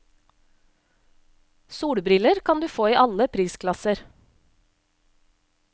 Solbriller kan du få i alle prisklasser.